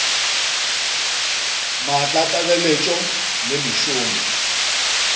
maatla a tlaleletšo le mešomo